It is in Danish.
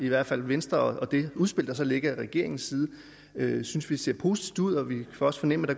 i hvert fald i venstre i det udspil der ligger fra regeringens side det synes vi ser positivt ud og vi kan også fornemme